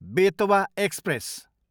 Betwa express